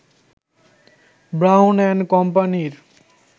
brown and কোম্পানি-র